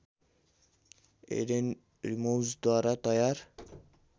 Aiden रिजौम्द्वारा तयार